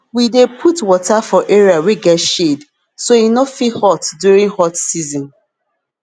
we dey put water for area wey get shade so e no fit hot during hot season